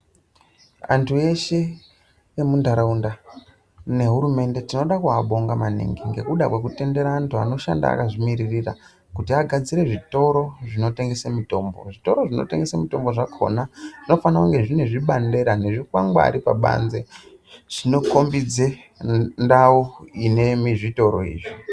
Antu eshe emuntaraunda nehurumende tinoda kuabonga maningi ngekuda kwekutendera antu anoshanda akazvimiririra kuti agadzire zvitoro zvinotengese mitombo. Zvitoro zvinotengese mitombo zvakona zvinofana kunge zvine zvibandera nezvikwangwari pabanze zvinokombidza ndau ine zvitoro izvi.